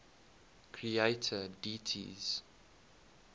creator deities